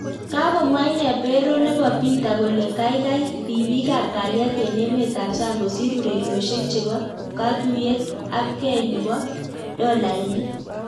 Kakomwa inee peroo nebo peter kolee kakai ripiik ap kalyet eng emet ap sang kosiir urerosiek cheboo katuiyet ak gei neboo daloainik